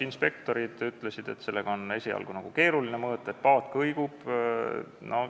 Inspektorid ütlesid, et on keeruline mõõta, sest paat kõigub.